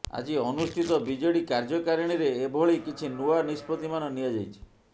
ଆଜି ଅନୁଷ୍ଠିତ ବିଜେଡି କାର୍ଯ୍ୟକାରିଣୀରେ ଏଭଳି କିଛି ନୂଆ ନିଷ୍ପତ୍ତିମାନ ନିଆଯାଇଛି